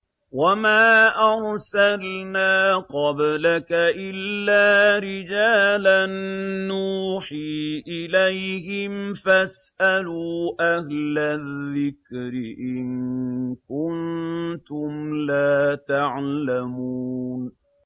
وَمَا أَرْسَلْنَا قَبْلَكَ إِلَّا رِجَالًا نُّوحِي إِلَيْهِمْ ۖ فَاسْأَلُوا أَهْلَ الذِّكْرِ إِن كُنتُمْ لَا تَعْلَمُونَ